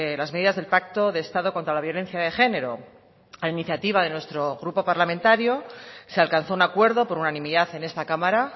las medidas del pacto de estado contra la violencia de genero a iniciativa de nuestro grupo parlamentario se alcanzó un acuerdo por unanimidad en esta cámara